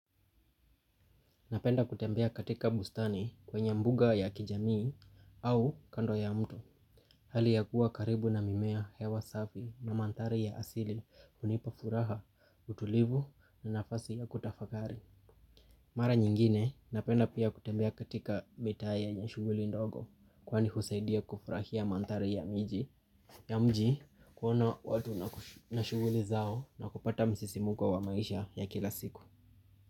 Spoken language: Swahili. Napenda kutembea katika bustani kwenye mbuga ya kijamii au kando ya mto. Hali ya kuwa karibu na mimea hewa safi na manthari ya asili hunipa furaha, utulivu na nafasi ya kutafakari. Mara nyingine napenda pia kutembea katika mitaya ya shuguli ndogo kwani husaidia kufurahia mathari ya mji ya mji kuona watu na shuguli zao na kupata msisimko wa maisha ya kila siku.